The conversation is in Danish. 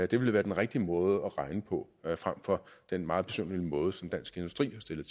det ville være den rigtige måde at regne på frem for den meget besynderlige måde som dansk industri har stillet